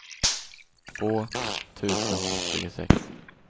två tusen tjugosex